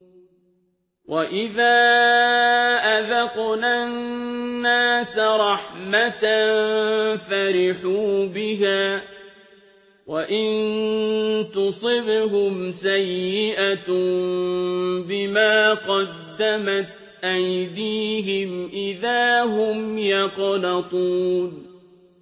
وَإِذَا أَذَقْنَا النَّاسَ رَحْمَةً فَرِحُوا بِهَا ۖ وَإِن تُصِبْهُمْ سَيِّئَةٌ بِمَا قَدَّمَتْ أَيْدِيهِمْ إِذَا هُمْ يَقْنَطُونَ